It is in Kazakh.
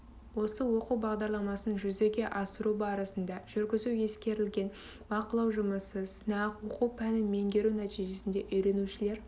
осы оқу бағдарламасын жүзеге асыру барысында жүргізу ескерілген бақылау жұмысы сынақ оқу пәнін меңгеру нәтижесінде үйренушілер